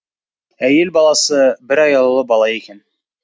әйел баласы бір аяулы бала екен